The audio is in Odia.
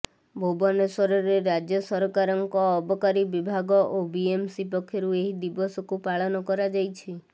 ଭୁବନେଶ୍ୱରରେ ରାଜ୍ୟ ସରକାରଙ୍କ ଅବକାରୀ ବିଭାଗ ଓ ବିଏମ୍ସି ପକ୍ଷରୁ ଏହି ଦିବସକୁ ପାଳନ କରାଯାଇଛି